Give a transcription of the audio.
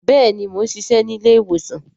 Bẹẹni, Mo n ṣiṣẹ ni ilé-ìwòsàn